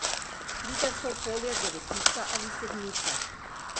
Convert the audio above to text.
Pride v to polje devetica ali sedmica?